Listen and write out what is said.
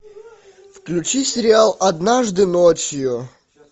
включи сериал однажды ночью